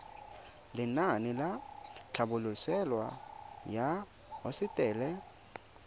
lenaane la tlhabololosewa ya hosetele